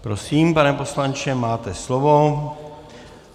Prosím, pane poslanče, máte slovo.